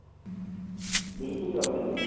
ਬਿਲਕੁੱਲ ਚਲਦੇ ਨੇ